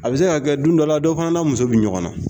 A bɛ se ka kɛ don dɔ la dɔ fana n'a muso bɛ ɲɔgɔn na